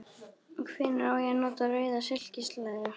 Hvenær á ég að nota rauða silkislæðu?